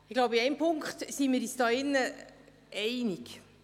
Ich glaube, in einem Punkt sind wir hier im Saal uns einig: